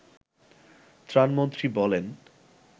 ত্রাণমন্ত্রী বলেন